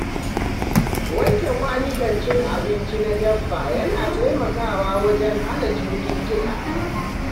Wanke kwanukan cin abinci na dabba yana taimakawa wajen hana cututtuka.